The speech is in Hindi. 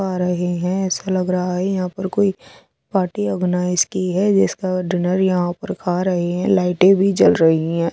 पा रहे है ऐसा लाग रहा है यहाँ पर कोई पार्टी ओरगनाइस की है जिसका डिनर यहाँ पार खा रहे है लाइट टे भी जल रही है।